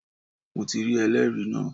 Mo rí ẹlẹ́rìí náà